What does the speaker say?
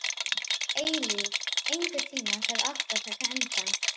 Eilíf, einhvern tímann þarf allt að taka enda.